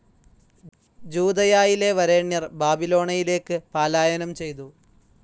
ജൂദയായിലെ വരേണ്യർ ബാബിലോണയയിലേക്ക് പാലായനം ചെയ്തു.